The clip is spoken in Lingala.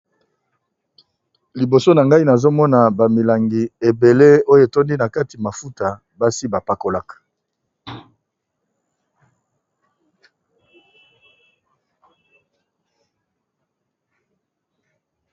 Liboso nangai nazomona ba milangi ebele oyo tondi nakati mafuta basi bapakolaka.